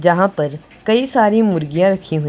जहां पर कई सारी मुर्गियां रखी हुई--